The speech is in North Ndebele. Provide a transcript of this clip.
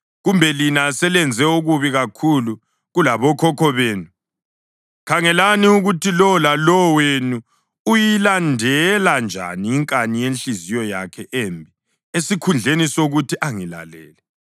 Kodwa lina selenze okubi kakhulu kulabokhokho benu. Khangelani ukuthi lowo lalowo wenu uyilandela njani inkani yenhliziyo yakhe embi esikhundleni sokuthi angilalele.